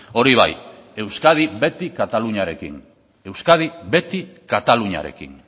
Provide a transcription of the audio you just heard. hori bai euskadi beti kataluniarekin euskadi beti kataluniarekin